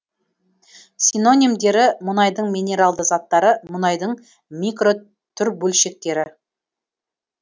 синонимдері мұнайдың минералды заттары мұнайдың микротүрбөлшектері